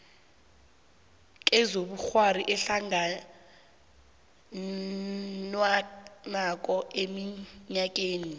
kezobukghwari ehlanganwenakho eminyakeni